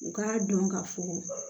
U k'a dɔn ka fɔ